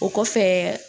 O kɔfɛ